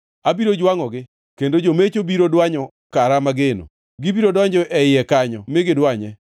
Abiro jwangʼogi kendo jomecho biro dwanyo kara mageno. Gibiro donjo e iye kanyo mi gidwanye.